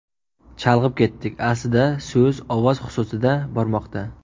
Chalg‘ib ketdik, aslida so‘z ovoz xususida bormoqda.